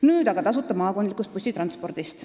Nüüd aga tasuta maakondlikust bussitranspordist.